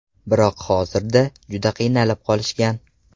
Biroq hozirda juda qiynalib qolishgan.